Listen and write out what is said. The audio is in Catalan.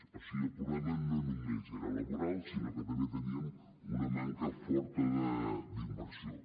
o sigui el problema no només era laboral sinó que també teníem una manca forta d’inversió